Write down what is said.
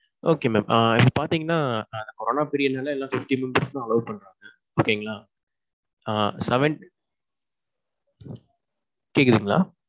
okay mam. ஆ பாத்தீங்கன்னா corona period நால எல்லாம fifty members தான் allow பண்றாங்க. okay ங்களா. ஆ seven. கேக்குதுங்களா?